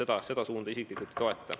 Ehk et seda suunda ma isiklikult ei toeta.